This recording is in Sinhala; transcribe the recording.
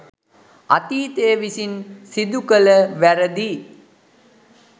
අතීතය විසින් සිදුකළ වැරදි